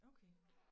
Okay